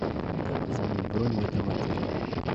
как изменить бронь в этом отеле